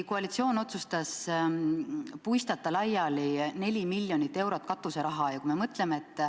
Koalitsioon otsustas puistata laiali 4 miljonit eurot katuseraha.